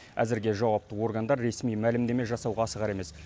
әзірге жауапты органдар ресми мәлімдеме жасауға асығар емес